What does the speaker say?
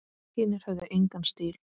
Hinir höfðu engan stíl.